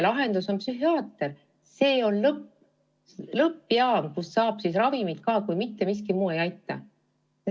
Psühhiaater on lõppjaam, kust saab ka ravimit, kui mitte miski muu ei aita.